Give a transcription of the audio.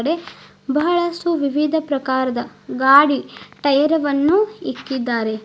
ದೆ ಬಹಳಷ್ಟು ವಿವಿಧ ಪ್ರಕಾರದ ಗಾಡಿ ಟೈರವನ್ನು ಇಕ್ಕಿದ್ದಾರೆ.